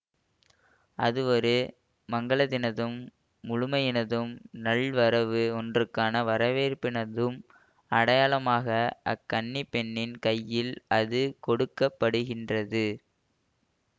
அது ஒரு மங்கலத்தினதும் முழுமையினதும் நல் வரவு ஒன்றுக்கான வரவேற்பினதும் அடையாளமாக அக் கன்னி பெண்னின் கையில் அது கொடுக்க படுகின்றது